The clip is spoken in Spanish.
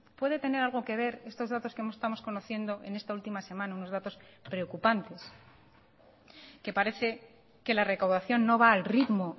puede tener algo que ver estos datos que estamos conociendo en esta última semana unos datos preocupantes que parece que la recaudación no va al ritmo